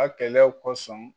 A kɛlɛw kɔsɔn